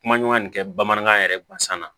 Kuma ɲɔgɔnya nin kɛ bamanankan yɛrɛ gansan na